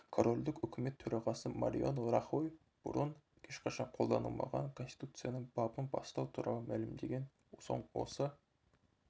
корольдіктің үкімет төрағасы мариано рахой бұрын ешқашан қолданылмаған конституцияның бабын бастау туралы мәлімдеген соң осы